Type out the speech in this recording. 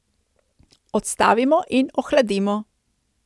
Odstavimo in ohladimo.